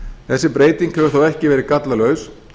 þessi breyting hefur þó ekki verið gallalaus